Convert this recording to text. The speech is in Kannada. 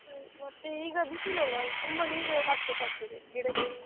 ಹ್ಮ್ ಮತ್ತೆ ಈಗ ಬಿಸಿಲಲ್ಲ ತುಂಬಾ ನೀರು ಹಾಕ್ಬೇಕಾಗ್ತದೆ ಗಿಡಕ್ಕೆ?